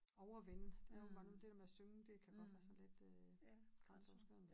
Overvinde det ret mange det dér med at synge det kan godt være sådan lidt øh grænseoverskridende